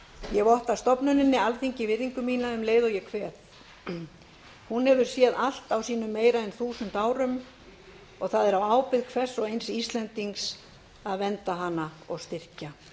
ég votta stofnuninni alþingi virðingu mína um leið og ég kveð hún hefur séð allt á sínum meira en þúsund árum og það er á ábyrgð hvers og eins íslendings að vernda hana og styrkja